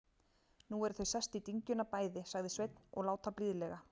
Nú eru þau sest í dyngjuna, bæði, sagði Sveinn, og láta blíðlega.